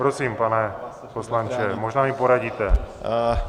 Prosím, pane poslanče, možná mi poradíte.